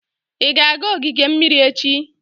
Ị ga-aga ogige mmiri echi?